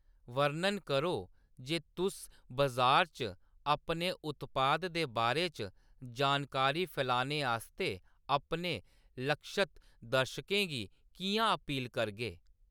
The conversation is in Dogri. वर्णन करो जे तुस बजार च अपने उत्पाद दे बारे च जानकारी फैलाने आस्तै अपने लक्षित दर्शकें गी किʼयां अपील करगे।